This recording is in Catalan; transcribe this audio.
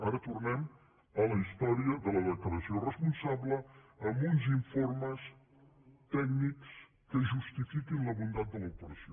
ara tornem a la història de la declaració responsable amb uns in·formes tècnics que justifiquin la bondat de l’operació